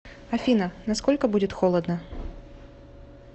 афина на сколько будет холодно